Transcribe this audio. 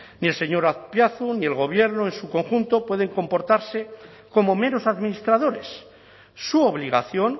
ni el señor azpiazu ni el gobierno en su conjunto pueden comportarse como meros administradores su obligación